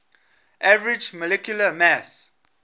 average molecular mass